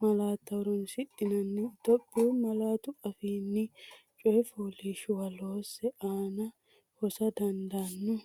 malaatta horoonsidhinanni Itophiyu malaatu afiinni coyi fooliishshuwa loose, aana hosa dandaanno?